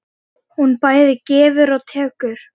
Hún bæði gefur og tekur.